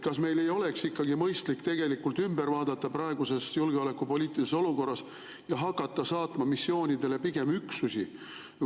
Kas meil ei oleks mõistlik see praeguses julgeolekupoliitilises olukorras ümber vaadata ja hakata saatma missioonidele pigem üksusi?